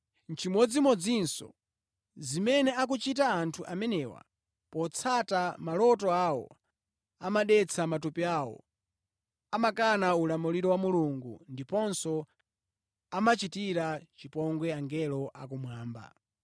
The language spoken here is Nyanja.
Nʼchimodzimodzinso zimene akuchita anthu amenewa potsata maloto awo, amadetsa matupi awo, amakana ulamuliro wa Mulungu ndiponso amachitira chipongwe angelo akumwamba.